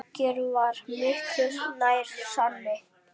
Lager var miklu nær sanni.